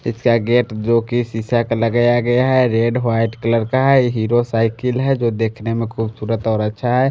इसका गेट जो की शीशा का लगाया गया है रेड व्हाइट कलर का है हीरो साइकिल है जो देखने मे खूबसूरत और अच्छा है।